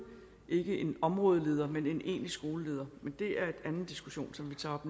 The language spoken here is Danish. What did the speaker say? ikke en områdeleder men en egentlig skoleleder men det er en anden diskussion som vi tager op